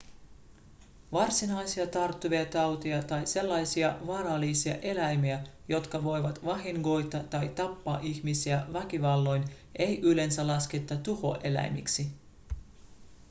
varsinaisia tarttuvia tauteja tai sellaisia vaarallisia eläimiä jotka voivat vahingoittaa tai tappaa ihmisiä väkivalloin ei yleensä lasketa tuhoeläimiksi